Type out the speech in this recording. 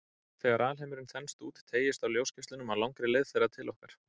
Þegar alheimurinn þenst út, teygist á ljósgeislunum á langri leið þeirra til okkar.